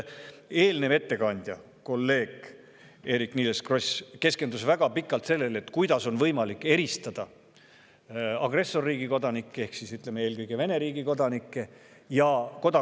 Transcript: Eelmine ettekandja, kolleeg Eerik-Niiles Kross keskendus väga pikalt sellele, kuidas on võimalik eristada agressorriigi kodanikke ehk eelkõige Vene riigi kodanikke ja kodakondsuseta isikuid.